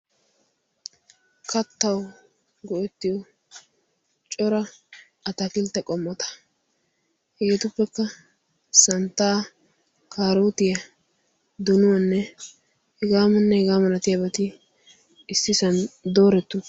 Kattawu go"ettiyoo cora ataakiltte qommota. hegeetuppekka santtaa karootiyaa donuwaanne hegaanne hegaa malatiyaageti issisaan dooretti uttidosona.